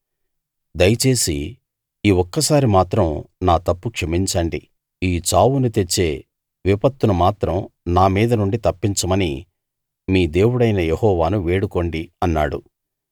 దయచేసి ఈ ఒక్కసారి మాత్రం నా తప్పు క్షమించండి ఈ చావును తెచ్చే విపత్తును మాత్రం నా మీద నుండి తప్పించమని మీ దేవుడైన యెహోవాను వేడుకోండి అన్నాడు